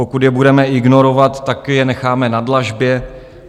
Pokud je budeme ignorovat, tak je necháme na dlažbě.